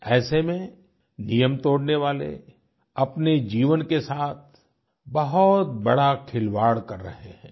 ऐसे में नियम तोड़ने वाले अपने जीवन के साथ बहुत बड़ा खिलवाड़ कर रहे हैं